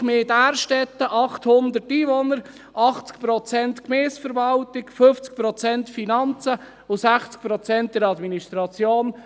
Wir in Därstetten haben 800 Einwohner, 80 Prozent Gemeindeverwaltung, 50 Prozent Finanzen und 60 Prozent in der Administration.